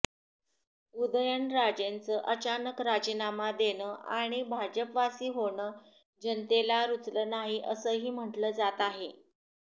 उदयनराजेंचं अचानक राजीनामा देणं आणि भाजपवासी होणं जनतेला रुचलं नाही असंही म्हटलं जात आहे